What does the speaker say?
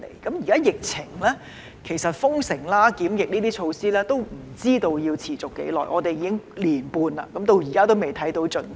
在現時的疫情下，也不知道封城和檢疫等措施要持續多久，至今已過了一年半，但仍未看到盡頭。